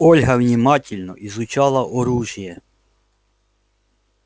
ольга внимательно изучала оружие